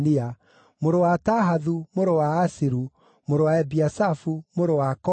mũrũ wa Tahathu, mũrũ wa Asiru, mũrũ wa Ebiasafu, mũrũ wa Kora,